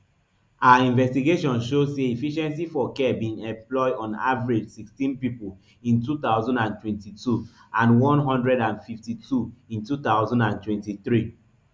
our investigation show say efficiency for care bin employ on average sixteen pipo in two thousand and twenty-two and one hundred and fifty-two in two thousand and twenty-three